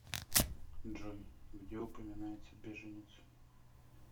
джой где упоминается беженец